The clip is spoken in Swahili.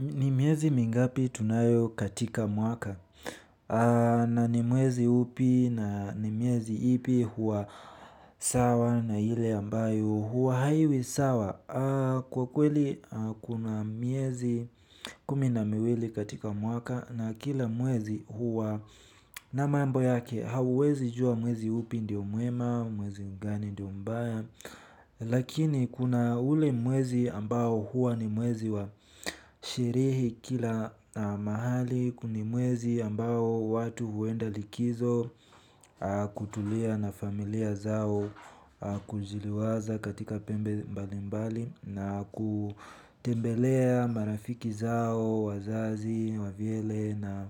Ni mwiezi mingapi tunayo katika mwaka na ni mwezi upi na ni mwezi ipi huwa sawa na ile ambayo huwa haiwi sawa. Kwa kweli kuna miezi kumi na miwili katika mwaka na kila mwezi huwa na mambo yake hauwezijua mwezi upi ndio muema, mwezi mgani ndio mmbaya. Lakini kuna ule mwezi ambao huwa ni mwezi wa sharehe kila mahali. Huku ni mwezi ambao watu huenda likizo kutulia na familia zao, kujiliwaza katika pembe mbali mbali na kutembelea marafiki zao, wazazi, wavyele na